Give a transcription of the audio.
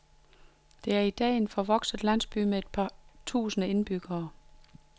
Det er i dag en forvokset landsby med et par tusinde indbyggere.